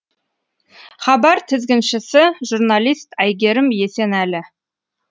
хабар тізгіншісі журналист әйгерім есенәлі